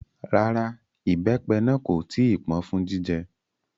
Rárá, ìbẹ́pẹ náà kò tí ì pọ́n fún jíjẹ